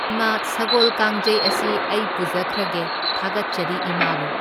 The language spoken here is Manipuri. ꯏꯃꯥ ꯁꯒꯣꯜ ꯀꯥꯡꯖꯩ ꯥꯑꯁꯤ ꯑꯩ ꯄꯨꯖꯈ꯭ꯔꯒꯦ, ꯊꯥꯒꯠꯆꯔꯤ ꯏꯃꯥꯕꯨ꯫